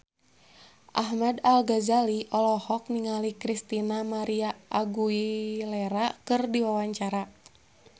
Ahmad Al-Ghazali olohok ningali Christina María Aguilera keur diwawancara